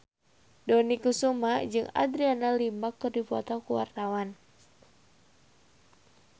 Dony Kesuma jeung Adriana Lima keur dipoto ku wartawan